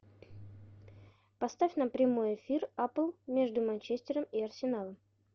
поставь нам прямой эфир апл между манчестером и арсеналом